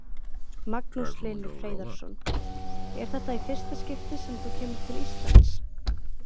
Magnús Hlynur Hreiðarsson: Er þetta í fyrsta skipti sem þú kemur til Íslands?